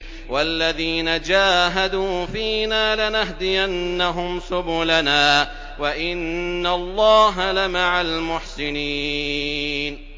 وَالَّذِينَ جَاهَدُوا فِينَا لَنَهْدِيَنَّهُمْ سُبُلَنَا ۚ وَإِنَّ اللَّهَ لَمَعَ الْمُحْسِنِينَ